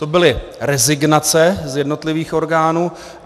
To byly rezignace z jednotlivých orgánů.